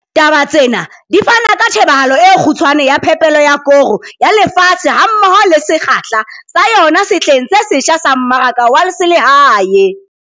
TABA TSENA DI FANA KA TJHEBAHALO E KGUTSHWANE YA PHEPELO YA KORO YA LEFATSHE HAMMOHO LE SEKGAHLA SA YONA SEHLENG SE SETJHA SA MMARAKA WA SELEHAE.